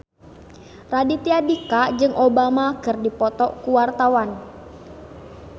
Raditya Dika jeung Obama keur dipoto ku wartawan